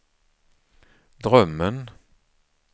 drömmen